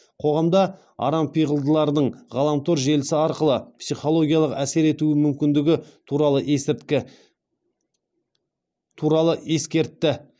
қоғамда арампиғылдылардың ғаламтор желісі арқылы психологиялық әсер ету мүмкіндігі туралы ескертті